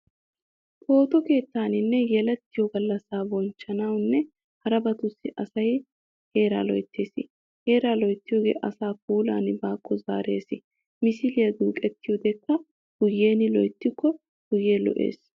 Phooto keettaninne yelettido gallassaa bonchchanawunne harabatussi asay heeraa loyttees. Heeraa loyttiyoogee asaa puulan baakko zaares misiliyaa duuqettiiddikka guyyiyan loyittikko guyyee lo'ees.